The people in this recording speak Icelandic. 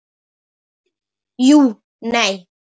Nei, jú, nei.